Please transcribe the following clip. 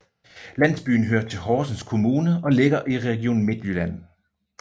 Landsbyen hører til Horsens Kommune og ligger i Region Midtjylland